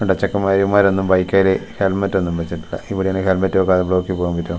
ചെക്ക പയ്യന്മാര് ബൈക്കേലു ഹെൽമറ്റ് ഒന്നും വെച്ചിട്ടില്ല ഇവിടെയാണെങ്കിൽ ഹെൽമെറ്റ് വെക്കാതെ ബ്ലോക്കിൽ പോവാൻ പറ്റോ ?